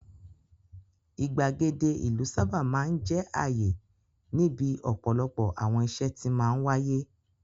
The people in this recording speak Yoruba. Ìgbàgede ìlú sábà máa ń jẹ́ àyè níbi ọ̀pọ̀lọpọ̀ àwọn ìṣe tí máa ń wáyé.